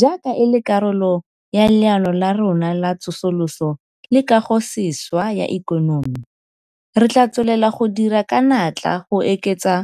Jaaka e le karolo ya Leano la rona la Tsosoloso le Kagosešwa ya Ikonomi, re tla tswelela go dira ka natla go oketsa